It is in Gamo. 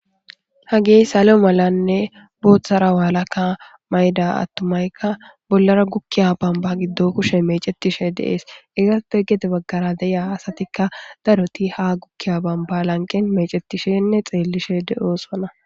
ha gey salo malanne booththara waalaka mayda attumaykka bollara gukkiya bamba giddo kushe mecetishe de'ees ezate gede baggara deya asatikka daroti ha gukkiya bamba lanqen mecetishenne xeellishe de7oosana